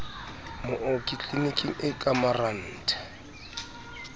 mooki tliliniking e ka marantha